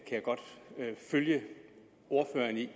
jeg godt følge ordføreren i